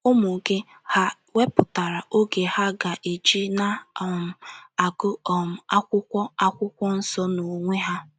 Ụmụ gị, hà wepụtara oge ha ga - eji na um - agụ um akwụkwọ akwụkwọ nsọ n’onwe ha?